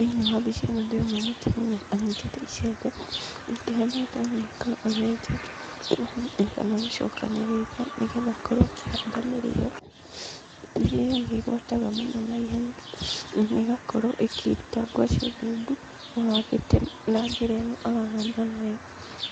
Thĩinĩ wa mbica ĩno ndĩrona mũtumia anyitĩte icembe, akĩhanaga tarĩ mĩkaro arenja, kana gũcokanĩrĩria, nĩgetha akorwo akĩhanda mĩrĩo, mĩrĩo nĩ ĩgwataga mũno naihenya, ona ĩgakorwo ĩkĩruta ngwacĩ ndungu, ũhandĩte na njĩra ĩno arahanda nayo.